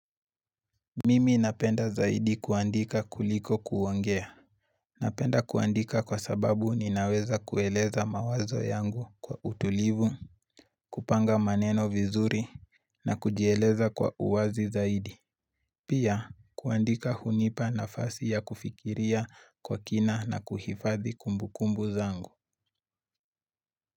Mimi napenda zaidi kuandika kuliko kuongea. Napenda kuandika kwa sababu ninaweza kueleza mawazo yangu kwa utulivu, kupanga maneno vizuri na kujieleza kwa uwazi zaidi. Pia kuandika hunipa nafasi ya kufikiria kwa kina na kuhifadhi kumbukumbu zangu.